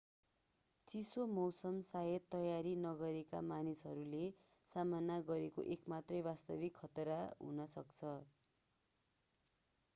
चिसो मौसम शायद तयारी नगरेका मानिसहरूले सामना गरेको एक मात्रै वास्तविक खतरा हुन सक्छ